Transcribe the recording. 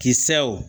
Kisɛw